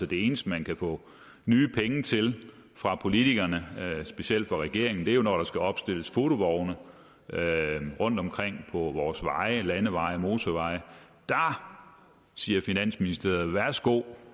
det eneste man kan få nye penge til fra politikerne og specielt fra regeringen er jo når der skal opstilles fotovogne rundtomkring på vores veje landeveje og motorveje der siger finansministeren værsgo